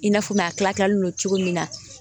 I n'a fɔ mɛ a tilalen don cogo min na